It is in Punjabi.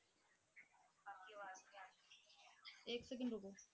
ਇੱਕ second ਰੁੱਕੋ।